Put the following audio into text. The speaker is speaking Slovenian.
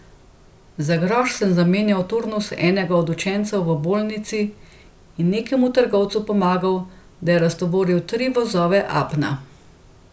Za groš sem zamenjal turnus enega od učencev v Bolnici in nekemu trgovcu pomagal, da je raztovoril tri vozove apna.